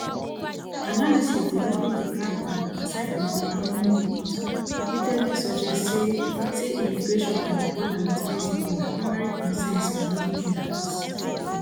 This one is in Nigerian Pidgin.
analysis delivering di crackdown aside from di economy polls repeatedly suggest say say immigration and di border wit mexico na primary concerns for many voters